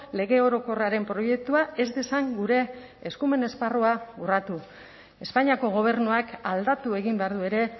lege orokorraren proiektua ez dezan gure eskumen esparrua urratu espainiako gobernuak aldatu egin behar du ere